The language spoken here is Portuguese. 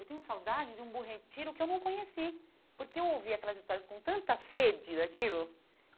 Eu tenho saudade de um Bom Retiro que eu não conheci, porque eu ouvi aquelas histórias com tanta sede daquilo.